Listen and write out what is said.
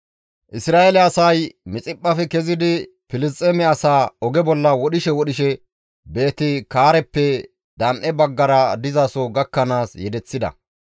Isra7eele asay Mixiphphafe kezidi Filisxeeme asaa oge bolla wodhishe wodhishe Beeti-Kaareppe dan7e baggara dizaso gakkanaas yedeththida.